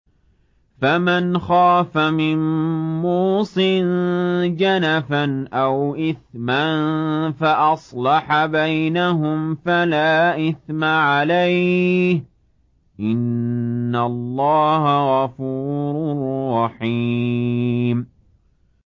فَمَنْ خَافَ مِن مُّوصٍ جَنَفًا أَوْ إِثْمًا فَأَصْلَحَ بَيْنَهُمْ فَلَا إِثْمَ عَلَيْهِ ۚ إِنَّ اللَّهَ غَفُورٌ رَّحِيمٌ